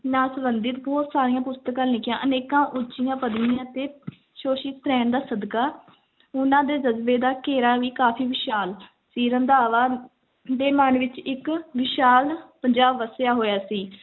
ਨਾਲ ਸੰਬੰਧਿਤ ਬਹੁਤ ਸਾਰੀਆਂ ਪੁਸਤਕਾਂ ਲਿਖੀਆਂ, ਅਨੇਕਾਂ ਉੱਚੀਆਂ ਪਦਵੀਆਂ ਤੇ ਰਹਿਣ ਸਦਕਾ ਉਹਨਾਂ ਦੇ ਜਜਬੇ ਦਾ ਘੇਰਾ ਵੀ ਕਾਫ਼ੀ ਵਿਸ਼ਾਲ ਸੀ, ਰੰਧਾਵਾ ਦੇ ਮਨ ਅੰਦਰ ਇੱਕ ਵਿਸ਼ਾਲ ਪੰਜਾਬ ਵੱਸਿਆ ਹੋਇਆ ਸੀ